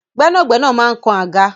Gbẹnagbẹna man kán agá.